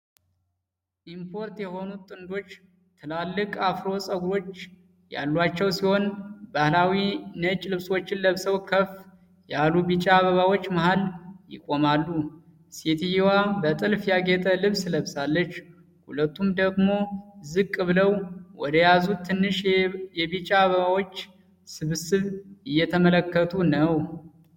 እምፖርት የሆኑት ጥንዶች ትላልቅ አፍሮ ፀጉሮች ያሏቸው ሲሆን፣ ባህላዊ ነጭ ልብሶችን ለብሰው ከፍ ያሉ ቢጫ አበባዎች መሃል ይቆማሉ። ሴትየዋ በጥልፍ ያጌጠ ልብስ ለብሳለች፣ ሁለቱም ደግሞ ዝቅ ብለው ወደያዙት ትንሽ የቢጫ አበባዎች ስብስብ እየተመለከቱ ነው።